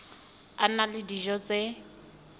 a na le dijo tse